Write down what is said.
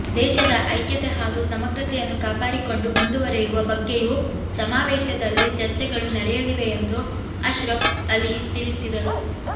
ದೇಶದ ಐಕ್ಯತೆ ಹಾಗೂ ಸಮಗ್ರತೆಯನ್ನು ಕಾಪಾಡಿಕೊಂಡು ಮುಂದುವರಿಯುವ ಬಗ್ಗೆಯೂ ಸಮಾವೇಶದಲ್ಲಿ ಚರ್ಚೆಗಳು ನಡೆಯಲಿವೆ ಎಂದು ಅಶ್ರಫ್ ಅಲಿ ತಿಳಿಸಿದರು